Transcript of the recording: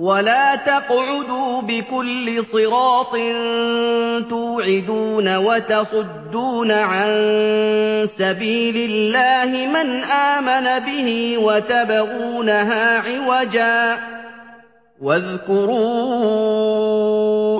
وَلَا تَقْعُدُوا بِكُلِّ صِرَاطٍ تُوعِدُونَ وَتَصُدُّونَ عَن سَبِيلِ اللَّهِ مَنْ آمَنَ بِهِ وَتَبْغُونَهَا عِوَجًا ۚ وَاذْكُرُوا